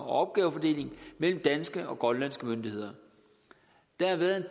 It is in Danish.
opgavefordeling mellem danske og grønlandske myndigheder der har været